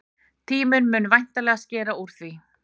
Tíminn mun væntanlega skera úr því.